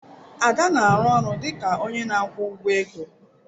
Ada na-arụ ọrụ dị ka onye na-akwụ ụgwọ ego.